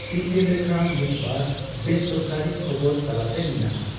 ᱛᱤᱛᱮ ᱞᱮᱠᱷᱟ ᱢᱤᱫᱵᱟᱨ ᱵᱮᱥᱚᱨᱠᱟᱨᱤ ᱠᱷᱚᱵᱚᱨ ᱛᱟᱞᱟᱛᱮ ᱢᱮᱱᱟᱜᱼᱟ ᱾